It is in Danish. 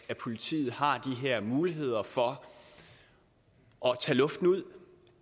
at politiet har de her muligheder for at tage luften ud